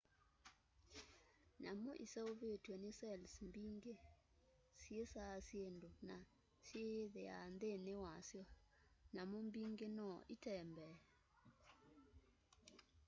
nyamũ ĩseũvĩtwe n cells mbĩngĩ.syĩĩsa syĩndũ na sĩyĩthĩa nthĩnĩ wa syo.nyamũ mbĩngĩ no ĩtembee